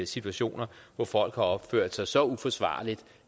situationer hvor folk har opført sig så uforsvarligt